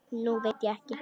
Nú veit ég ekki.